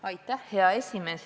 Aitäh, hea esimees!